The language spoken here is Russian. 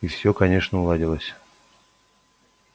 и все конечно уладилось